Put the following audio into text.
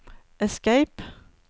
escape